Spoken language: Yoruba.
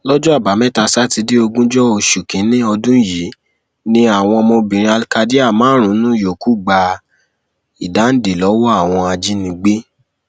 lọjọ àbámẹta sátidé ogúnjọ oṣù kínínní ọdún yìí ni àwọn ọmọbìnrin alkadiyar márùnún yòókù gba ìdáǹdè lọwọ àwọn ajínigbé